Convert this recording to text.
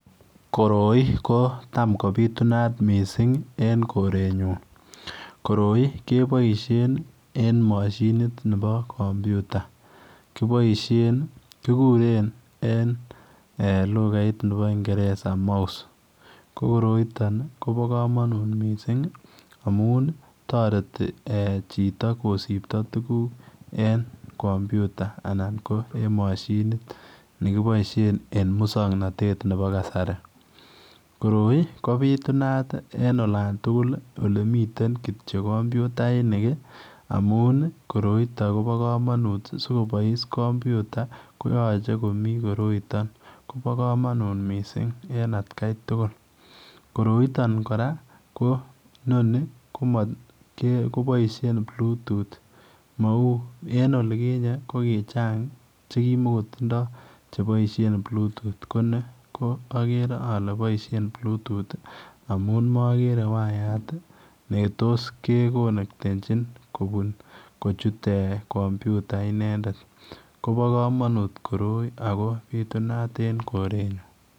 Koroi kotam kobitunat en korenyun koroi ko keboishen en mashinit Nebo kampyuta kobaishen kikuren en lukait Nebo ngeresa mouse ko koroiton kobo kamanut missing amun toreti ee chito kosibto tukuk en compyta anan ko mashinit ne kipoishen en muksoknotet nebo kasari koroi kabitunat en olan tukul ole mitten kompytainik amun koroiton kobo kamanut sikobois kompyta koyache komii koroiton kobo kamanut missing en atkai tukul koroiton ko inoni komat ko boishen blutut kou en olikinyen kokichang chekimagotindoi ko boishen blutut ko agere maboishen blutut amun agere ko waiyat Neto's ke konektenchi kochut compyuta inendet kobo kamanut koroi ago bitunat en korenyun